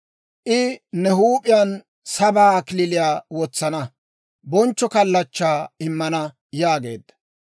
I ne huup'iyaan sabaa kalachchaa wotsana; bonchcho kalachchaa immana» yaageedda.